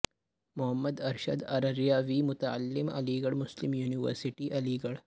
محمد ارشد ارریا وی متعلم Aligarh Muslim university علی گڑھ